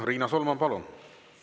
Riina Solman, palun!